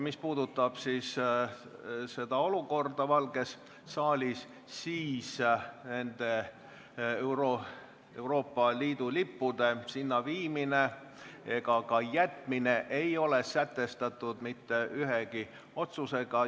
Mis puudutab olukorda Valges saalis, siis Euroopa Liidu lippude sinna viimine ega ka jätmine ei ole sätestatud mitte ühegi otsusega.